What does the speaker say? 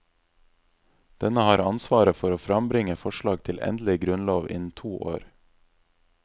Denne har ansvaret for å frambringe forslag til endelig grunnlov innen to år.